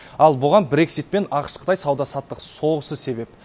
ал бұған брексит пен ақш қытай сауда саттық соғысы себеп